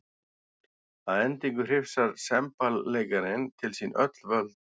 Að endingu hrifsar semballeikarinn til sín öll völd.